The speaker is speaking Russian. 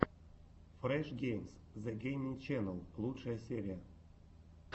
фреш геймс зэ гейминг ченел лучшая серия